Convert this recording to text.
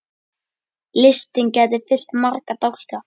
Listinn gæti fyllt marga dálka.